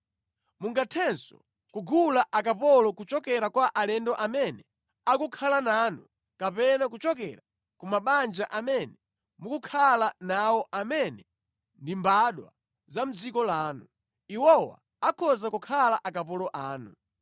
Mungathenso kugula akapolo kuchokera kwa alendo amene akukhala nanu kapena kuchokera ku mabanja amene mukukhala nawo amene ndi mbadwa za mʼdziko lanu. Iwowa akhoza kukhala akapolo anu.